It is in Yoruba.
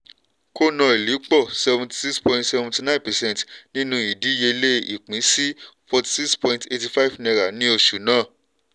conoil pọ̀ seventy six point seventy nine percent nínú ìdíyelé ìpín sí forty six point eighty five naira ní oṣù náà.